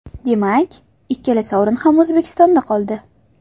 Demak, ikkala sovrin ham O‘zbekistonda qoldi.